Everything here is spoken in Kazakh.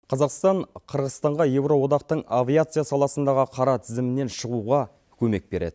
қазақстан қырғызстанға евроодақтың авиация саласындағы қара тізімінен шығуға көмек береді